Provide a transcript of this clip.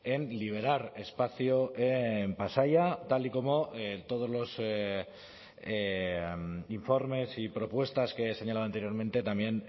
en liberar espacio en pasaia tal y como todos los informes y propuestas que he señalado anteriormente también